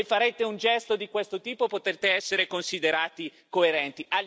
Se farete un gesto di questo tipo, potete essere considerati coerenti.